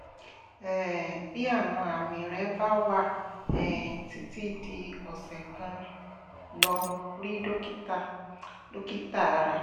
um bí àwọn àmì rẹ bá wà um títí di ọ̀sẹ̀ kan lọ rí dókítà dókítà ara